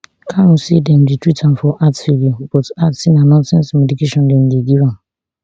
kanu say dem dey treat am for heart failure but add say na nonsense medication dem dey give am